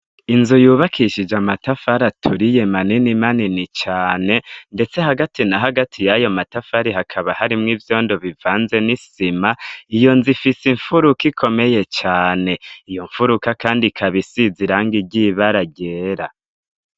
Inzu yubakishije amatafari aturiye manini manini cane ndetse hagati na hagati yayo matafari hakaba harimwo ivyondo bivanze n'isima iyo nzu ifise imfuruka ikomeye cane, iyo mfuruka kandi ikaba isize irangi ryibara ryera.